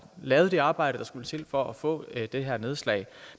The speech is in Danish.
lavet det arbejde der skulle til for at få det her nedslag